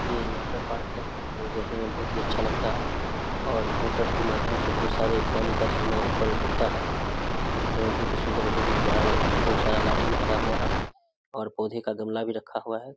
ये water park है जो देखने में बहुत ही अच्छा लगता है और मोटर के माध्यम से बहुत सारे पानी का झरना ऊपर उड़ता है और देखने में बहुत ही सुन्दर बहुत ही प्यारा लगता है बहुत सारा लाइट भी लगा हुआ है और पौधे का गमला भी रखा हुआ है।